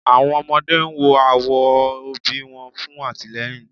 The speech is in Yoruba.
Awọn ọmọde n wo awọn obi wọn fun atilẹyin